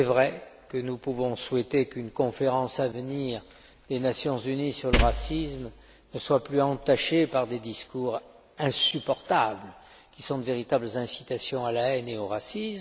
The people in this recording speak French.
Il est vrai que nous pouvons souhaiter que la prochaine conférence des Nations unies sur le racisme ne soit plus entachée par des discours insupportables, qui sont de véritables incitations à la haine et au racisme.